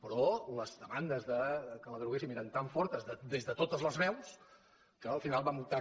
però les demandes que la deroguessin eren tan fortes des de totes les veus que al final vam optar